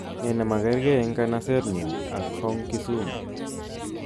Nee nemakerkei eng kanasetnyu ak Hong Kisumu